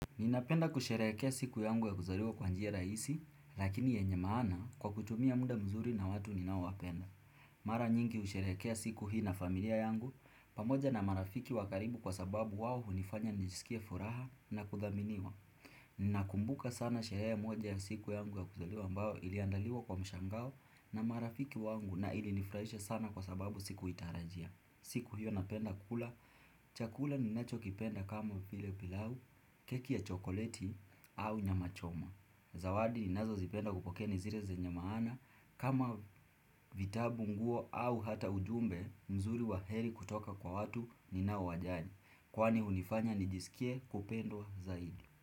Ninapenda kusherehekea siku yangu ya kuzaliwa kwa njia rahisi, lakini yenye maana kwa kutumia muda vizuri na watu ninao wapenda. Mara nyingi husherehekea siku hii na familia yangu, pamoja na marafiki wa karibu kwa sababu wao hunifanya njisikie furaha na kuthaminiwa. Ninakumbuka sana sherehe moja ya siku yangu ya kuzaliwa ambayo iliandaliwa kwa mshangao na marafiki wangu na ilinifurahisha sana kwa sababu sikuitaharajia. Siku hiyo napenda kula, chakula ninacho kipenda kama vile pilau, keki ya chokoleti au nyama choma Zawadi ninazo zipenda kupokea ni zile zenye maana kama vitabu nguo au hata ujumbe mzuri wa heri kutoka kwa watu ninao wajali Kwani hunifanya nijisikie upendo zaidi.